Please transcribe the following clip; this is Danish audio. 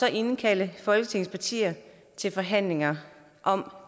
at indkalde folketingets partier til forhandlinger om